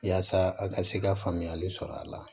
Yaasa a ka se ka faamuyali sɔrɔ a la